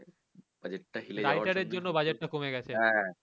হ্যা